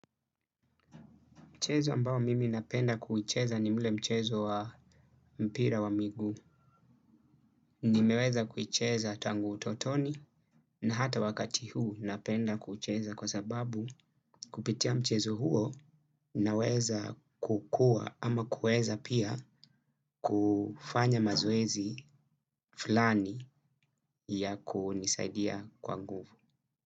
Mchezo ambao mimi napenda kuicheza ni ule mchezo wa mpira wa miguu. Nimeweza kuicheza tangu utotoni na hata wakati huu napenda kuicheza kwa sababu kupitia mchezo huo naweza kukua ama kuweza pia kufanya mazoezi fulani ya kunisaidia kwa nguvu.